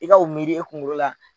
I ka o miiri i kungolo la.